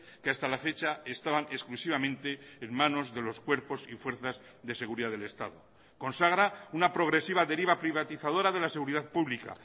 que hasta la fecha estaban exclusivamente en manos de los cuerpos y fuerzas de seguridad del estado consagra una progresiva deriva privatizadora de la seguridad pública